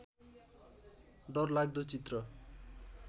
डरलाग्दो चित्र